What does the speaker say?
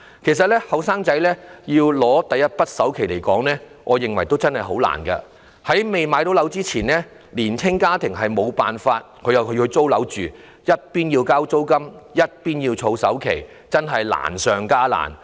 其實，年輕人要拿出第一筆首期實在很困難，在未能置業前，年青家庭無法不住在出租樓宇，他們一邊要繳交租金，另一邊又要儲首期，確實是難上加難。